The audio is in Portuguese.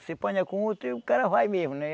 Você ponha com outro e o cara vai mesmo, né?